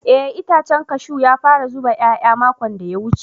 Eh itacen cashew ya fara zuba yaya makon da ya wuce.